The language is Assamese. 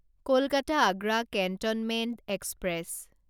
Kolkata Agra cantonment express